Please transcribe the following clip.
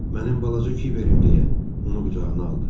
Mənim balaca Kiberim deyə onu qucağına aldı.